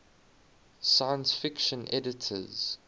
science fiction editors